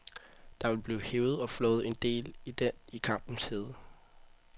Der vil blive hevet og flået en del i den i kampens hede.